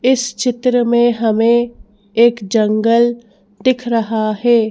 इस चित्र में हमें एक जंगल दिख रहा है।